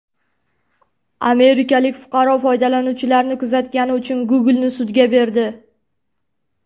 Amerikalik fuqaro foydalanuvchilarni kuzatgani uchun Google’ni sudga berdi.